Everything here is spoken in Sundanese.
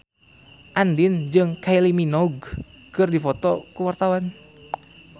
Andien jeung Kylie Minogue keur dipoto ku wartawan